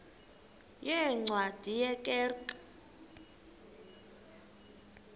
yeencwadi ye kerk